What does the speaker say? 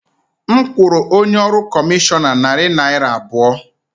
M kwụrụ onye ọrụ kọmishọna narị naira abụọ.